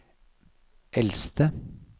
eldste